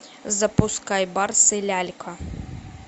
запускай барс и лялька